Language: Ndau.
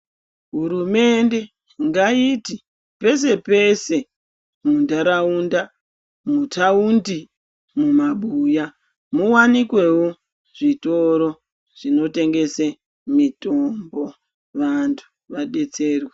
Hurumende ngaiti pese pese muntaraunda, mutaundu, mumabuya muwanikewo zvitoro zvinotengese mitombo vantu vadetserwe.